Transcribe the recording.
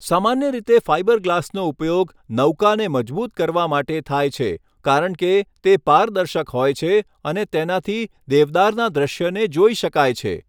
સામાન્ય રીતે ફાઇબર ગ્લાસનો ઉપયોગ નૌકાને મજબૂત કરવા માટે થાય છે કારણ કે તે પારદર્શક હોય છે અને તેનાથી દેવદારના દૃશ્યને જોઈ શકાય છે.